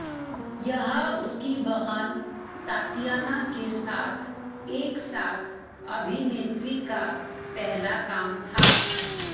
यह उसकी बहन तातियाना के साथ एक साथ अभिनेत्री का पहला काम था